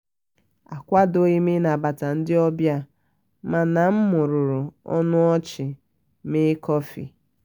akwadoghim ịnabata ndị ọbịa mana m mụmụrụ ọnụ ọchị mee kọfị